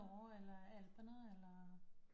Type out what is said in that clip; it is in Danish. Norge eller alperne eller